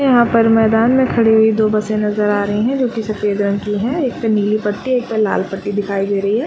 यहाँ पर मैदान में कड़ी हुई दो बसे नजर आ रही है जो की सफेद रंग की है एक पे नीली पट्टी एक पे लाल पट्टी दिखाई दे रही है